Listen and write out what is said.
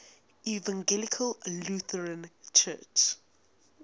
evangelical lutheran church